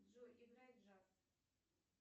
джой играй джаз